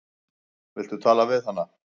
Viltu tala við hana?